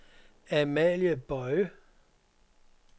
Amalie Boye